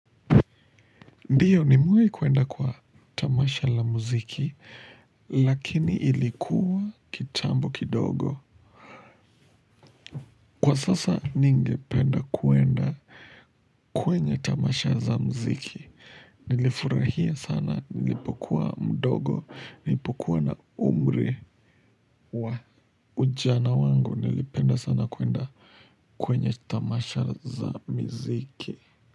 Ndio nimewai kuenda kwa tamasha la muziki, lakini ilikuwa kitambo kidogo. Kwa sasa ningependa kuenda kwenye tamasha za muziki. Nilifurahia sana nilipokuwa mdogo, nilipokuwa na umri wa ujana wangu nilipenda sana kuenda kwenye tamasha za miziki.